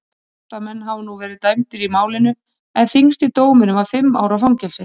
Átta menn hafa nú verið dæmdir í málinu en þyngsti dómurinn var fimm ára fangelsi.